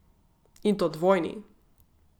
In to dvojni.